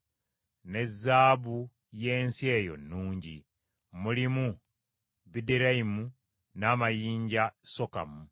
ne zaabu y’ensi eyo nnungi; mulimu bideriamu n’amayinja onuku.